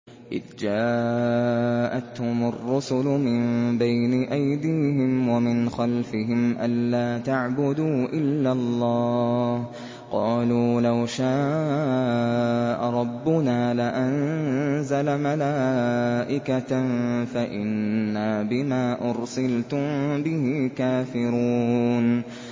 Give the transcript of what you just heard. إِذْ جَاءَتْهُمُ الرُّسُلُ مِن بَيْنِ أَيْدِيهِمْ وَمِنْ خَلْفِهِمْ أَلَّا تَعْبُدُوا إِلَّا اللَّهَ ۖ قَالُوا لَوْ شَاءَ رَبُّنَا لَأَنزَلَ مَلَائِكَةً فَإِنَّا بِمَا أُرْسِلْتُم بِهِ كَافِرُونَ